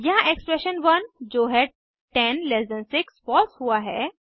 यहाँ एक्सप्रेशन 1 जो है 10 ल्ट 6 फॉल्स है